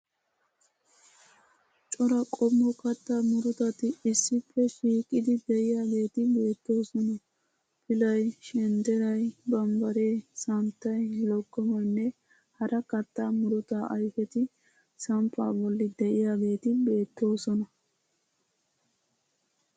Cora qommo kattaa murutati issippe shiiqidi de'iyageeti beettoosona. Pilay, shendderay, bambbaree, sanittay, loggomoynne hara kattaa murutaa ayifeti samppaa bolli de'iyageeti beettoosona.